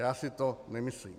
Já si to nemyslím.